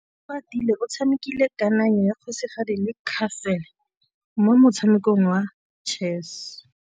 Oratile o tshamekile kananyô ya kgosigadi le khasêlê mo motshamekong wa chess.